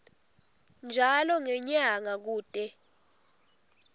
njalo ngenyanga kute